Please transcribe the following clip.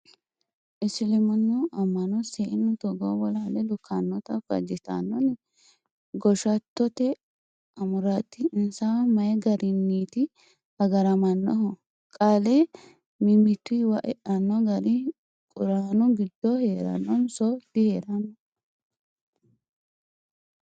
Isiliminu ama'no seenu togo bolale lukkanotta fajittanonni ? Goshattote amurati insawa mayi garinniti agaramanohu qaale mimmituwa eano gari quranu giddo heeranonso diheerano.